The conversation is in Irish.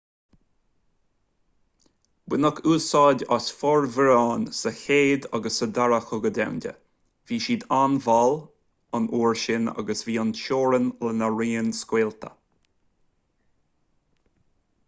baineadh úsáid as formhuireáin sa chéad agus sa dara cogadh domhanda bhí siad an-mhall an uair sin agus bhí an-teorainn lena raon scaoilte